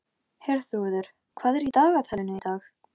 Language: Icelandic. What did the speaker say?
Dagfríður, hvað er mikið eftir af niðurteljaranum?